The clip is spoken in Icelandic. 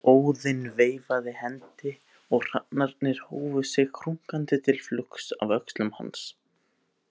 Óðinn veifaði hendi og hrafnarnir hófu sig krunkandi til flugs af öxlum hans.